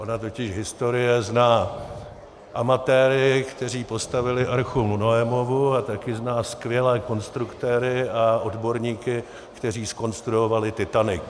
Ona totiž historie zná amatéry, kteří postavili archu Noemovu, a taky zná skvělé konstruktéry a odborníky, kteří zkonstruovali Titanic.